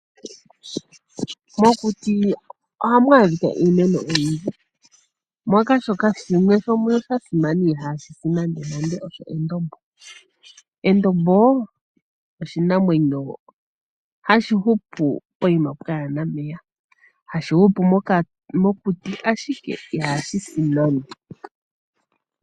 Mokuti ohamu adhika iimeno oyindji moka mu na shimwe sha simana shoka ihaa shisi hashi ithanwa endombo. Endombo oshimeno shono hashi hupu poima pwaana omeya hashi hupile mokuti ashike ihashisi nande.